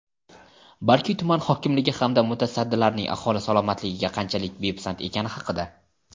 balki tuman hokimligi hamda mutasaddilarning aholi salomatligiga qanchalik bepisand ekani haqida.